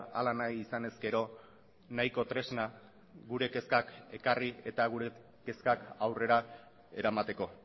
hala nahi izan ezkero nahiko tresna gure kezkak ekarri eta gure kezkak aurrera eramateko